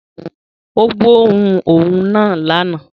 Ó gbóòórùn òun náà lánàá